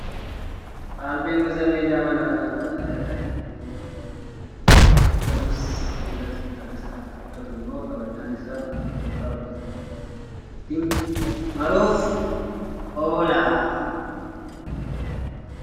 Albeen gosa meeshaa manaa kan karaalee adda addaa jireenya keenya ittiin salphifnuu fi kan hojjatamus sibiila tumuudhaani. Kan namatti tolu immoo qabannaan isaa kan mukarraa hojjatamudha. Innis qullubbii ittiin muruuf oola.